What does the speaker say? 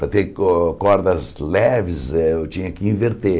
Para ter cor cordas leves, eh eu tinha que inverter.